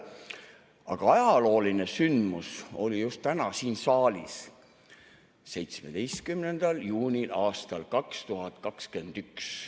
Aga ajalooline sündmus oli just täna siin saalis, 17. juunil aastal 2021.